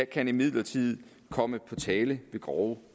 kan imidlertid komme på tale ved grove